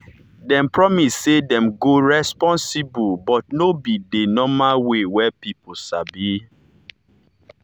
dem promise say dem go responsible but no be the normal way wey people sabi.